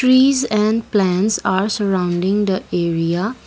trees and plants are surrounding the area.